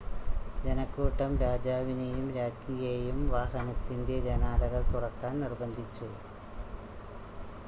ജനക്കൂട്ടം രാജാവിനെയും രാജ്ഞിയെയും വാഹനത്തിൻ്റെ ജനാലകൾ തുറക്കാൻ നിർബന്ധിച്ചു